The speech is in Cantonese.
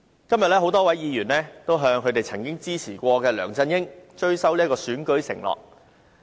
今天多位議員向他們曾支持過的梁振英追討，要他履行選舉承諾。